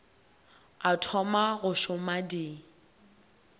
o thoma go šoma di